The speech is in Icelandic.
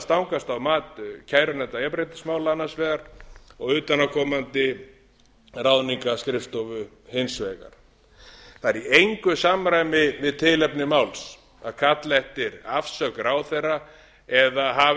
stangast á mat kærunefndar jafnréttismála annars vegar og utanaðkomandi ráðningarskrifstofu hins vegar það er í engu samræmi við tilefni máls að kalla eftir afsögn ráðherra eða hafa